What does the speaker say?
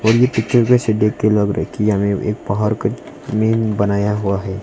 इस पिक्चर में से देख के लग रहा है कि हमे एक पहाड़ का मेन बनाया हुआ हैं।